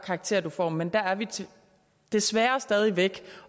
karakterer du får men der er vi desværre stadig væk